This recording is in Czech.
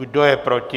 Kdo je proti?